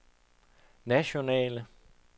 nationale